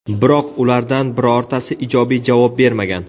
Biroq ulardan birortasi ijobiy javob bermagan.